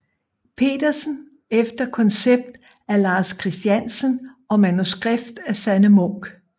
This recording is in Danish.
Pedersen efter koncept af Lars Christiansen og manuskript af Sanne Munk